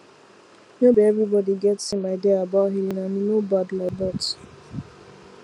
no be everybody get same idea about healing and e no bad like that